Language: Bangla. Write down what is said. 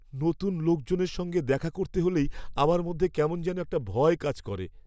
নতুন লোকজনের সঙ্গে দেখা করতে হলেই আমার মধ্যে কেমন যেন একটা ভয় কাজ করে।